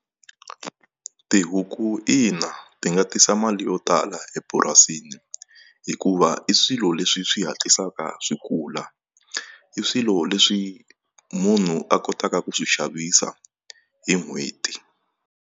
Tihuku ina ti nga tisa mali yo tala epurasini hikuva i swilo leswi swi hatlisaka swi kula i swilo leswi munhu a kotaka ku swi xavisa hi n'hweti.